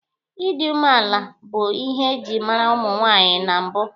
Ịdị umeala bụ ihe eji mara ụmụ nwaanyị na mbụ.